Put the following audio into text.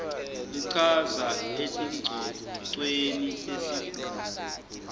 lichaza etingcocweni tesigungu